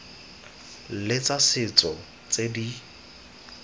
le tsa setso tse di